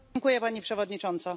Pani Przewodnicząca!